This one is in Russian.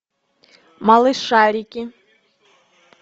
малышарики